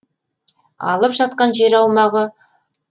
алып жатқан жер аумағы